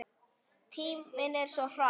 Tíminn líður svo hratt!